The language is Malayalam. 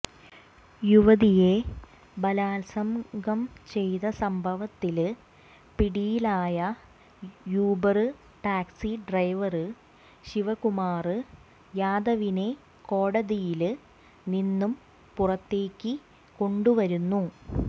യുവതിയെ ബലാത്സംഗം ചെയ്ത സംഭവത്തില് പിടിയിലായ യുബര് ടാക്സി ഡ്രൈവര് ശിവകുമാര് യാദവിനെ കോടതിയില് നിന്നും പുറത്തേക്ക് കൊണ്ടുവരുന്നു